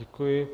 Děkuji.